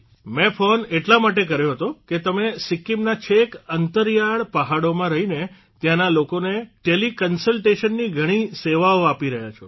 મેં ફોન એટલા માટે કર્યો હતો કે તમે સિક્કિમના છેક અંતરિયાળ પહાડોમાં રહીને ત્યાંના લોકોને ટેલીકન્સલટેશની ઘણી સેવાઓ આપી રહ્યા છો